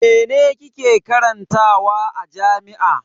Mene kike karantawa a jami'a?